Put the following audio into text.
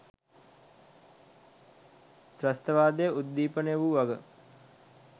ත්‍රස්තවාදය උද්දීපනය වූ වග